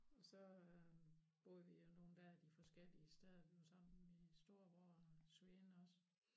Og så øh boede vi nogle dage de forskellige steder vi var sammen min storebror og svigerinde også